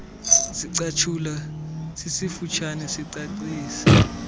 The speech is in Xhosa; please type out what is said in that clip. sicatshulwa sifutshane sicacisa